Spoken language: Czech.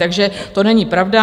Takže to není pravda.